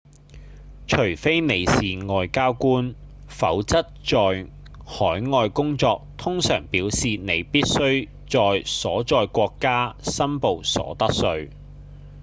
除非你是外交官否則在海外工作通常表示你必須在所在國家申報所得稅